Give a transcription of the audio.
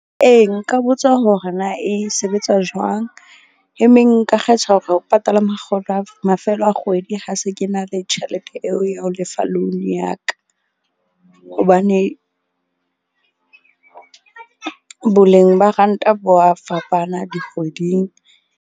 Ee, nka botsa hore na e sebetsa jwang e meng nka kgetha hore ho patala mafelo a kgwedi ha se ke na le tjhelete eo ya ho lefa loan ya ka. Hobane boleng ba ranta bo wa fapana dikgweding.